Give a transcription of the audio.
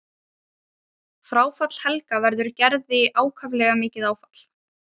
Fráfall Helga verður Gerði ákaflega mikið áfall.